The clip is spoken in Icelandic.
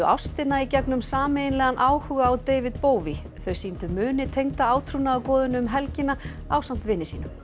ástina í gegnum sameiginlegan áhuga á David þau sýndu muni tengda átrúnaðargoðinu um helgina ásamt vini sínum